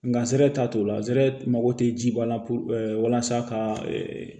Nga t'a t'o la zere mago tɛ ji ba la puruke walasa ka